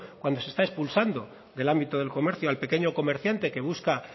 cuando se está expulsando del ámbito del comercio al pequeño comerciante que busca